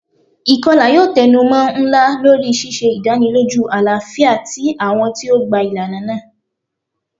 Ikọla yoo tẹnumọ nla lori ṣiṣe idaniloju alafia ti awọn ti o gba ilana naa.